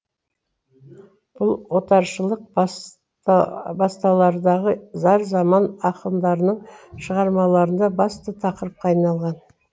бұл отаршылық басталардағы зар заман ақындарының шығармаларында басты тақырыпқа айналған